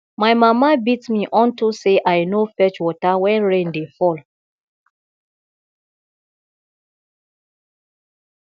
my mama beat me unto say i no fetch water wen rain dey fall